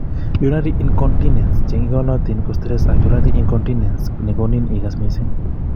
Urinary incontinence che ingolotin ko stress ak urinary incontinence nekonin ikas missing